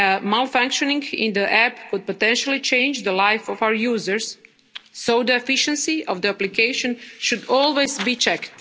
Malfunctioning of the app could potentially change the life of our users, so the efficiency of the application should always be checked.